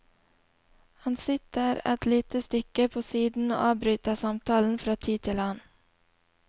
Han sitter et lite stykke på siden og avbryter samtalen fra tid til annen.